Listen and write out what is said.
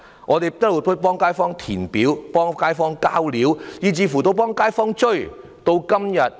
我們一直代街坊填寫表格和遞交資料，以至代街坊追問情況。